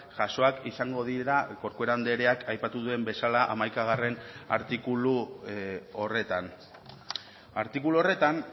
jasoak izango dira corcuera andreak aipatu duen bezala hamaikagarrena artikulu horretan artikulu horretan